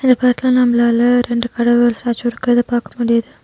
இத பாத்தா நம்லாள ரெண்டு கடவுள் ஸ்டேச்சு இருக்குறத பாக்க முடியிது.